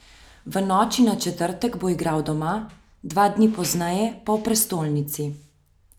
V noči na četrtek bo igral doma, dva dni pozneje pa v prestolnici.